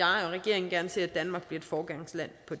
regeringen gerne ser at danmark bliver et foregangsland på